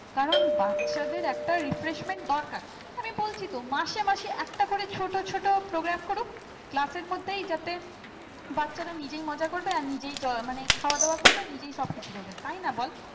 কারণ বাচ্চাদের একটা refreshment দরকার আমি বলছি তো মাঝে মাঝে একটা করে ছোট ছোট program করুক class এর মধ্যেই যাতে বাচ্চারা নিজের মজা করবে? নিজেই মনে খাওয়া দাওয়া করবে, নিজের সবকিছু করবে তাই না বল